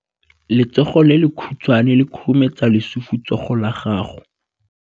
Letsogo le lekhutshwane le khurumetsa lesufutsogo la gago.